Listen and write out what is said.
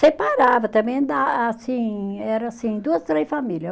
Separava também, dá assim, era assim, duas, três famílias.